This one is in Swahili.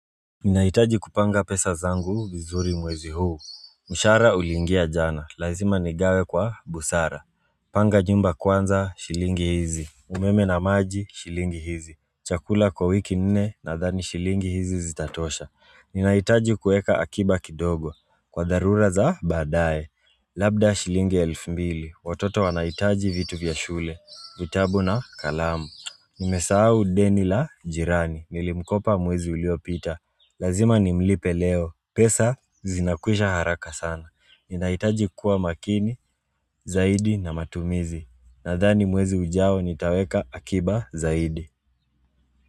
Ninahitaji kupanga pesa zangu vizuri mwezi huu mshahara uliingia jana, lazima nigawe kwa busara Panga nyumba kwanza, shilingi hizi umeme na maji, shilingi hizi Chakula kwa wiki nne, nadhani shilingi hizi zitatosha Ninahitaji kueka akiba kidogo, kwa dharura za baadaye Labda shilingi elfu mbili, watoto wanahitaji vitu vya shule vitabu na kalamu Nimesahau deni la jirani, nilimkopa mwezi uliopita Lazima ni mlipe leo. Pesa zinakwisha haraka sana. Ninahitaji kuwa makini, zaidi na matumizi. Nadhani mwezi ujao nitaweka akiba zaidi.